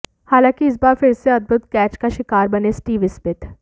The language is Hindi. हालांकि इस बार फिर से अद्भुत कैच का शिकार बने स्टीव स्मिथ